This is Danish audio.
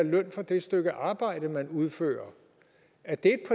løn for det stykke arbejde man udfører er det